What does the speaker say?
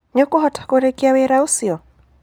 Nĩũkũhota kũrĩkĩa wĩra ũcio?